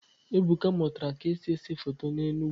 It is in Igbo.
Ebuka mụtara ka esi ese foto n'Enugwu